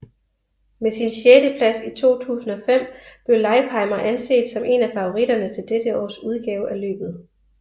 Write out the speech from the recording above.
Med sin sjetteplads i 2005 blev Leipheimer anset som en af favoritterne til dette års udgave af løbet